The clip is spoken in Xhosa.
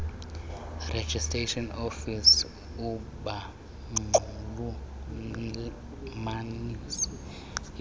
registration office abanxulumanisi